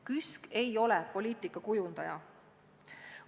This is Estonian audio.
KÜSK ei ole poliitika kujundaja.